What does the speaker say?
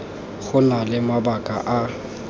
go na le mabaka a